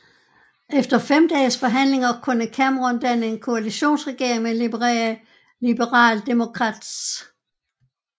Efter fem dages forhandlinger kunne Cameron danne en koalitionsregering med Liberal Democrats